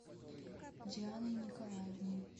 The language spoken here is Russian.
дианой николаевной